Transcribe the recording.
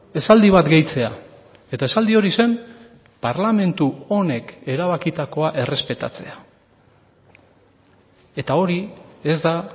esaldi bat gehitzea eta esaldi hori zen parlamentu honek erabakitakoa errespetatzea eta hori ez da